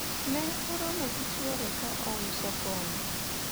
ne oromo gi chwore ka ouso kongo